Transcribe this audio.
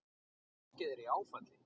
Fólkið er í áfalli.